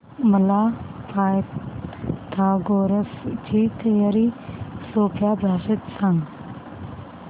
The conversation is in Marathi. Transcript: मला पायथागोरस ची थिअरी सोप्या भाषेत सांग